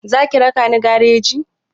Za ki raka ni gareji?